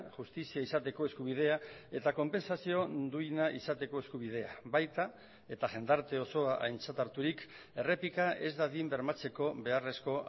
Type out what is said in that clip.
justizia izateko eskubidea eta konpentsazio duina izateko eskubidea baita eta jendarte osoa aintzat harturik errepika ez dadin bermatzeko beharrezko